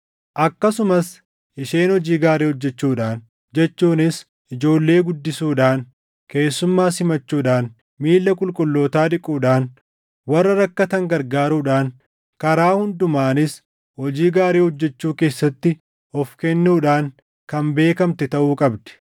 akkasumas isheen hojii gaarii hojjechuudhaan jechuunis ijoollee guddisuudhaan, keessummaa simachuudhaan, miilla qulqullootaa dhiquudhaan, warra rakkatan gargaaruudhaan, karaa hundumaanis hojii gaarii hojjechuu keessatti of kennuudhaan kan beekamte taʼuu qabdi.